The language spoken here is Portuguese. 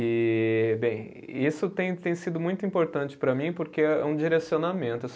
E, bem, isso tem tem sido muito importante para mim porque é, é um direcionamento.